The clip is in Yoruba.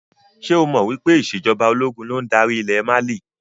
Ṣé o mọ wípé ìsèjọba ológun ló ń darí ilẹ̀ Mali?